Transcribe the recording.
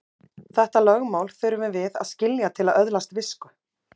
Þetta lögmál þurfum við að skilja til að öðlast visku.